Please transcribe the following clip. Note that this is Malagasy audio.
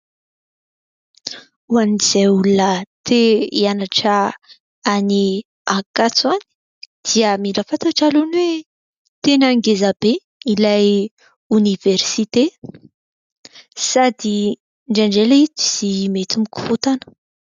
Ho an'izay olona te hianatra any Ankatso any dia mila fantatra aloha ny hoe tena ngeza be ilay oniversite sady indraindray ilay izy mety mikorontana.